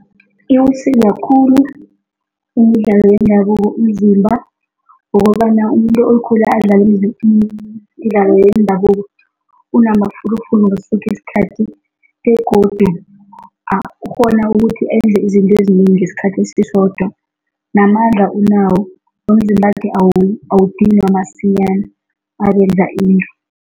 Iwusiza khulu umdlalo wendabuko umzimba ngokobana umuntu okhule adlala imdlalo yendabuko unamafulufulu ngaso sonke isikhathi begodu angakghona ukuthi enze izinto ezinengi ngesikhathi esisodwa, namandla unawo, nomzimbakhe awudinwa masinyana nakenza into.